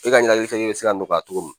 E ka nnakilifereke bɛ se ka nɔgɔya ka cogo min